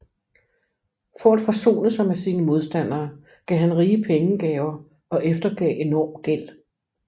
For at forsone sig med sine modstandere gav han rige pengegaver og eftergav enorm gæld